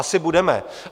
Asi budeme.